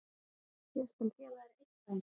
Ég skal gefa þér eitt dæmi.